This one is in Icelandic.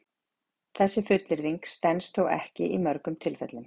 Þessi fullyrðing stenst þó ekki í mörgum tilfellum.